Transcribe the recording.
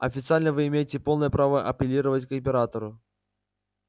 официально вы имеете полное право апеллировать к императору